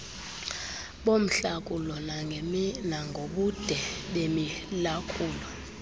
bomhlakulo nangobude bemilakulo